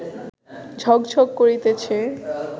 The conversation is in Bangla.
ঝক্ঝক্ করিতেছে